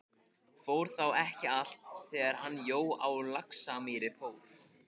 Fór þá ekki allt, þegar hann Jói á Laxamýri fór?